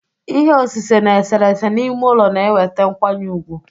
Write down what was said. Ihe osise na eserese n'ime ụlọ na-eweta nkwanye ùgwù